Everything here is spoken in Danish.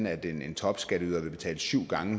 at de mennesker